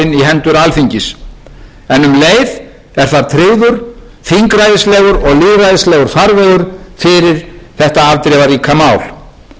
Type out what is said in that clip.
hendur alþingis en um leið er þar tryggður þingræðislegur og lýðræðislegur farvegur fyrir þetta afdrifaríka mál þau varnaðarorð ein vil ég að öðru leyti segja í þessum efnum að við